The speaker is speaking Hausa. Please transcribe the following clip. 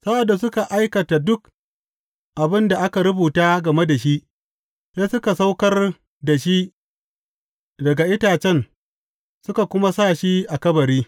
Sa’ad da suka aikata duk abin da aka rubuta game da shi, sai suka saukar da shi daga itacen suka kuma sa shi a kabari.